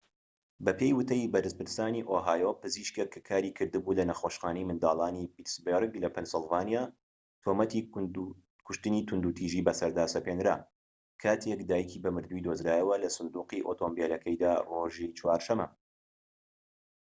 بەپێی وتەی بەرپرسانی ئۆهایۆ پزیشكێک کە کاریکردبوو لە نەخۆشخانەی منداڵانی پیتسبەرگ لە پەنسیلڤانیا تۆمەتی کوشتنی توندوتیژی بەسەردا سەپێنرا کاتێك دایکی بە مردویی دۆزرایەوە لە سندوقی ئۆتۆمبیلەکەیدا ڕۆژی چوارشەمە